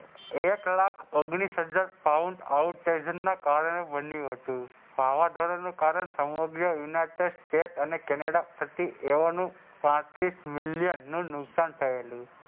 એક લાખ ઓગનીસ હજાર pound out station ના કારણે બનયુ હતું વાવા જોડા નું કારણ સમગ્ર united state અને કેનેડા થકી એઓ નું પાંત્રીસ મિલિયન નું નુકસાન થયેલું.